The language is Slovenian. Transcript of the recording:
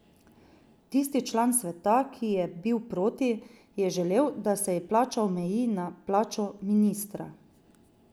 Tisti član sveta, ki je bil proti, je želel, da se ji plača omeji na plačo ministra.